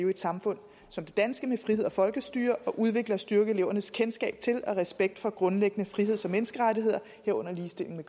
i et samfund som det danske med frihed og folkestyre samt udvikle og styrke elevernes kendskab til og respekt for grundlæggende friheds og menneskerettigheder herunder ligestilling